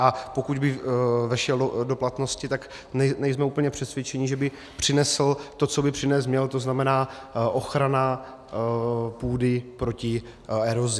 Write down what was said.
A pokud by vešel do platnosti, tak nejsme úplně přesvědčeni, že by přinesl to, co by přinést měl, to znamená ochranu půdy proti erozi.